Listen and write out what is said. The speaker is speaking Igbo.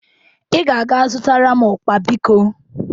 Ị ga-aga zụtara m ụkpa, biko.